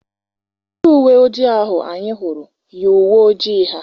Ndị uwe ojii ahụ anyị hụrụ yi uwe ojii ha.